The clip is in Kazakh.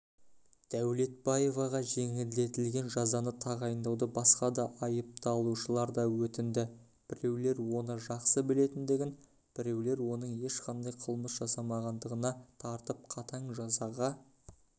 дәулетбаеваға жеңілдетілген жазаны тағайындауды басқа да айыпталушылар да өтінді біреулер оны жақсы білетіндігін бірелер оның ешқандай қылмыс жасамағандығыналға тартып қатаң жазаға